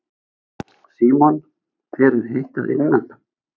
Símon: Þér er heitt að innan?